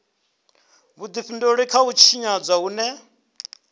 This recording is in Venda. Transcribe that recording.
vhudifhinduleli kha u tshinyadzwa hune